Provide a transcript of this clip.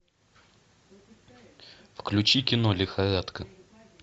включи кино лихорадка